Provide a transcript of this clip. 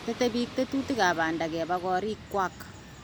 tetei biik tetutik ab banda keba koriiik kwak.